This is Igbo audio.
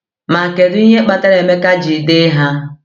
Ma kedu ihe kpatara Emeka ji dee ha?